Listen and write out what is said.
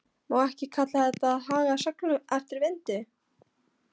Má ekki kalla þetta að haga seglum eftir vindi?